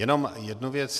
Jenom jednu věc.